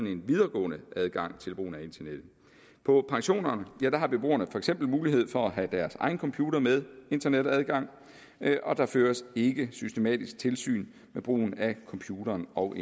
en videregående adgang til brugen af internet på pensionerne har beboerne for eksempel mulighed for at have deres egen computer med internetadgang og der føres ikke systematisk tilsyn med brugen af computeren og